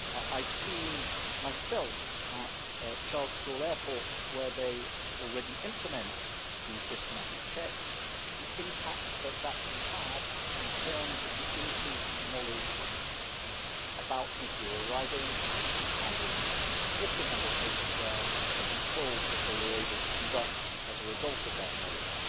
I have seen myself at Charles de Gaulle Airport, where they already implement the systematic checks, the impact that that can have in terms of the increased knowledge about people who are arriving and, in a significant number of cases there, the controls that they were able to conduct as a result of that knowledge.